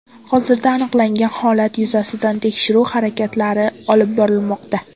Hozirda aniqlangan holat yuzasidan tekshiruv harakatlari olib borilmoqda.